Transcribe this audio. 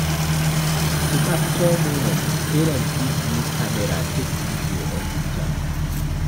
To capture moments, parents fit use camera take video or picture